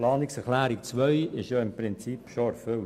Die Planungserklärung 2 ist im Prinzip schon erfüllt.